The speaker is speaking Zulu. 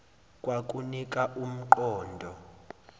kwakunika um qondo